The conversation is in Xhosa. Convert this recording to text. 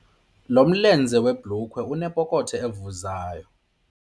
Lo mlenze webhulukhwe unepokotho evuzayo.